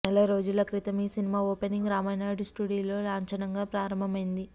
నెల రోజుల క్రితం ఈ సినిమా ఓపెనింగ్ రామానాయుడు స్లూడియోలో లాంఛనంగా ప్రారంభమైంది